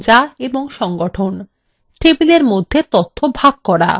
টেবিলের মধ্যে তথ্য ভাগ করা